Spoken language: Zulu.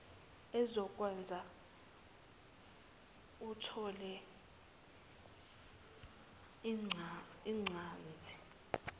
ezokwenza uthole incaze